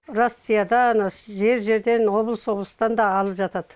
россияда ана жер жерден облыс облыстан да алып жатады